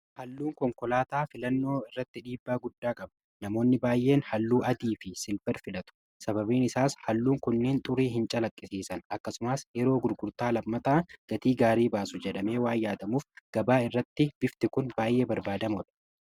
halluun konkolaataa filannoo irratti dhiibbaa guddaa qaba namoonni baay'een halluu adii fi siilfarii filaatu sababiin isaas halluun kunneen xurii hin calaqqisiisan akkasumaas yeroo gurgurtaa lammataa gatii gaarii baasu jedhamee waa yaadamuuf gabaa irratti biftii kun baay'ee barbaadamoodha